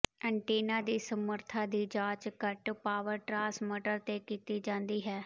antenna ਦੀ ਸਮਰੱਥਾ ਦੀ ਜਾਂਚ ਘੱਟ ਪਾਵਰ ਟਰਾਂਸਮਟਰ ਤੇ ਕੀਤੀ ਜਾਂਦੀ ਹੈ